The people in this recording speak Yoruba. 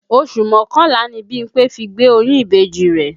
Oṣù mọ́kànlá ni Bímpé fi gbé oyún ìbejì rẹ̀